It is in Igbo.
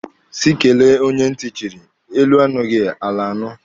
Sị kele onye ntị chịrị, elu anụghị, ala anụ.